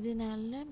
இதுனால